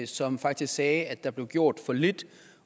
som faktisk sagde at der blev gjort for lidt